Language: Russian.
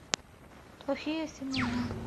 плохие семена